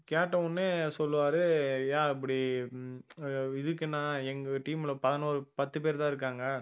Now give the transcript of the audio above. கேட்டவுடனே சொல்லுவாரு ஏ இப்படி அஹ் எங்க team ல பதினோரு பத்து பேர் தான் இருக்காங்க